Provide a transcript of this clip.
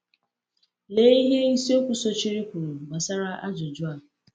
Lea ihe isiokwu sochiri kwuru gbasara ajụjụ a.